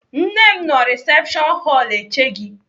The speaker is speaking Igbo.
Nne m nọ risepshọn họlụ eche gị.